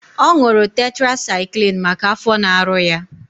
Ọ ṅụrụ tetrasaịklin maka afọ na-arụ ya.